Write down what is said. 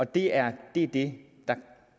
det er er det